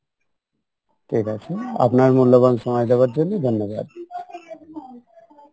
ঠিক আছে আপনার মূল্যবান সময় দেওয়ার জন্য ধন্যবাদ